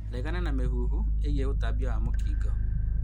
Regana na mĩhuhu ĩĩgiĩ ũtambia wa mũkingo